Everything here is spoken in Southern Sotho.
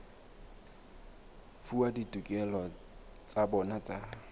fuwa ditokelo tsa bona tsa